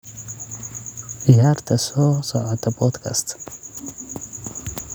ciyaarta soo socota podcast